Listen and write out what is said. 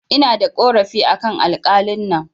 Ina da ƙorafi akan alƙalin nan